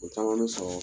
O caman bɛ sɔrɔ